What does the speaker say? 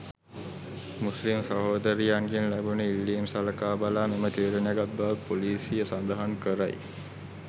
මුස්ලිම් සහෝදරියන්ගෙන් ලැබුණු ඉල්ලීම් සලකා බලා මෙම තීරණය ගත් බවත් පොලීසිය සඳහන් කරයි.